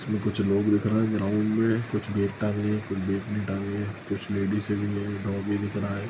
इसमें कुछ लोग दिख रहे हैं ग्राउंड में कुछ बैग टांगें हैं कुछ बैग नही टांगें हैं कुछ लेडीजे भी हैं डाॅगी दिख रहा है।